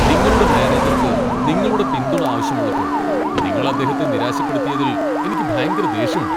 നിങ്ങളുടെ മാനേജർക്ക് നിങ്ങളുടെ പിന്തുണ ആവശ്യമുള്ളപ്പോൾ നിങ്ങൾ അദ്ദേഹത്തെ നിരാശപ്പെടുത്തിയതിൽ എനിക്ക് ഭയങ്കര ദേഷ്യമുണ്ട്.